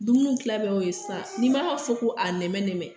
Dumuniw tila bɛɛ y'o ye sisan n'i m'a fɔ ko a nɛmɛnɛmɛ